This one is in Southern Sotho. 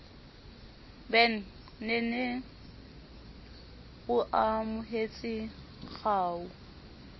ben nene o amohetse kgau